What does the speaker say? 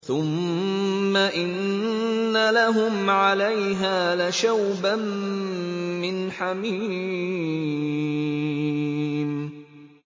ثُمَّ إِنَّ لَهُمْ عَلَيْهَا لَشَوْبًا مِّنْ حَمِيمٍ